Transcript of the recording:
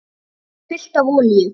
Það var fullt af olíu.